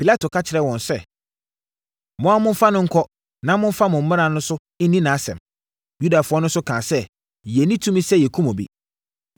Pilato ka kyerɛɛ wɔn sɛ, “Mo ara momfa no nkɔ na momfa mo mmara so nni nʼasɛm.” Yudafoɔ no nso kaa sɛ, “Yɛnni tumi sɛ yɛkum obi.”